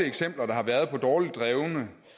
eksempler der har været på dårligt drevne